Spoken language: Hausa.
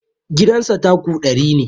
Gidan sa tako ɗari ne